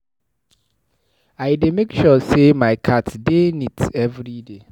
I dey make sure sey my cat dey neat everyday.